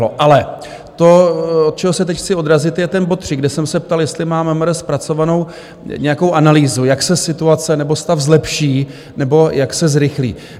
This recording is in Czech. Ale to, od čeho se teď chci odrazit, je ten bod 3, kde jsem se ptal, jestli má MMR zpracovanou nějakou analýzu, jak se situace nebo stav zlepší nebo jak se zrychlí.